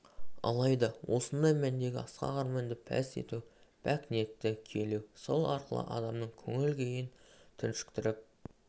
алайда осындай мәндегі асқақ арманды пәс ету пәк ниетті күйелеу сол арқылы адамның көңіл-күйін түршіктіріп